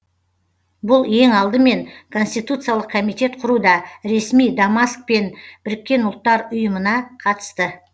бұл ең алдымен конституциялық комитет құруда ресми дамаск пен біріккен ұлттар ұйымына қатысты